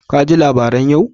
Ka ji labaran yau?